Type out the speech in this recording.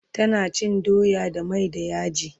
tana cin doya da mai da yaji